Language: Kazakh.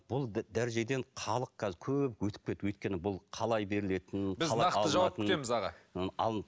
бұл дәрежеден халық қазір көп өтіп кетіп өйткені бұл қалай берілетінін біз нақты жауап күтеміз аға